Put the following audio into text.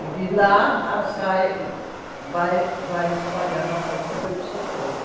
E de lá, vai, vai espalhando a força pelo seu corpo.